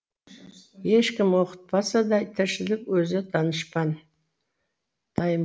ешкім оқытпаса да тіршілік өзі данышпан